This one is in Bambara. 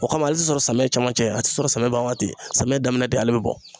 O kama ale tɛ sɔrɔ samiyɛ cɛmancɛ a tɛ sɔrɔ samiyɛ banwaati samiyɛ daminɛ de ale bɛ bɔ